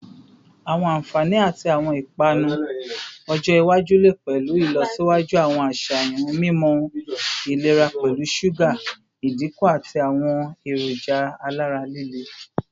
Awọn anfani ti awọn ipanu ọjọ iwaju le pẹlu ilọsiwaju awọn aṣayan mimọ ilera pẹlu suga idinku ati awọn eroja alara lile